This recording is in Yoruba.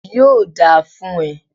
Yóò dáa fún e